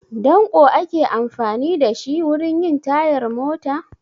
Danƙo ake amfani da shi wurin yin tayar mota?